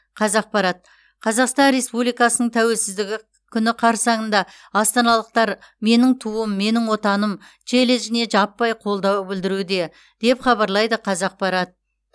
қазақпарат қазақстан республикасының тәуелсіздігі күні қарсаңында астаналықтар менің туым менің отаным челленджіне жаппай қолдау білдіруде деп хабарлайды қазақпарат